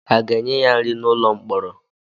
A ga-enye ya nri n'ụlọ mkpọrọ?